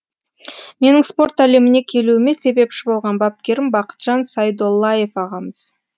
менің спорт әлеміне келуіме себепші болған бапкерім бақытжан сайдоллаев ағамыз